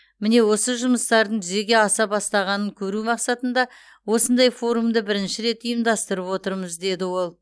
міне осы жұмыстардың жүзеге аса бастағанын көру мақсатында осындай форумды бірінші рет ұйымдастырып отырмыз деді ол